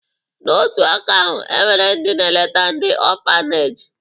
N'otu aka ahụ, e nwere ndị na-eleta ndị ọfaneji